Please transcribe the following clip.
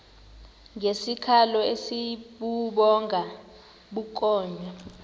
ngesikhalo esibubhonga bukhonya